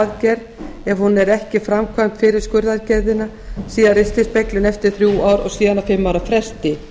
aðgerð ef hún er ekki framkvæmd fyrir skurðaðgerðina síðan ristilspeglun eftir þrjú ár og síðan á fimm ára fresti